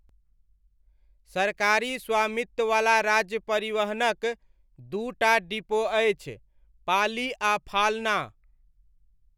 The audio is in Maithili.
सरकारी स्वामित्ववला राज्य परिवहनक दू टा डिपो अछि, पाली आ फाल्ना।